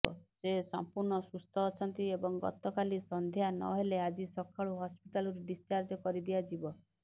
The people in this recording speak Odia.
ସେ ସଂପୂର୍ଣ୍ଣ ସୁସ୍ଥ ଅଛନ୍ତି ଏବଂ ଗତକାଲି ସନ୍ଧ୍ୟା ନହେଲେ ଆଜି ସକାଳୁ ହସ୍ପିଟାଲରୁ ଡିସଚାର୍ଜ କରି ଦିଆଯିବ